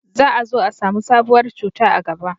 za a zo a samu sabuwar cuta a gaba